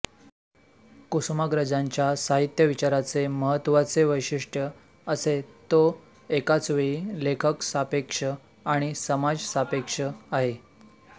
कुसुमाग्रजांच्या साहित्यविचाराचे महत्त्वाचे वैशिष्ट्य असे तो एकाचवेळी लेखकसापेक्ष आणि समाजसापेक्ष आहे